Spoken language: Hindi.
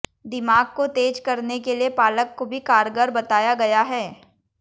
दिमाग को तेज करने के लिए पालक को भी कारगर बताया गया है